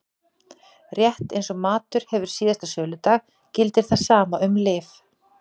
Rétt eins og matur hefur síðasta söludag gildir það sama um lyf.